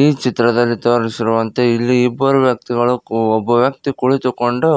ಈ ಚಿತ್ರದಲ್ಲಿ ತೋರಿಸಿರುವಂತೆ ಇಲ್ಲಿ ಇಬ್ಬರು ವ್ಯಕ್ತಿಗಳು ಕು ಒಬ್ಬ ವ್ಯಕ್ತಿ ಕುಳಿತುಕೊಂಡು